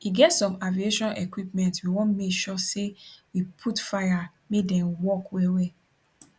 e get some aviation equipment we wan make sure say we put fire make dem work wellwell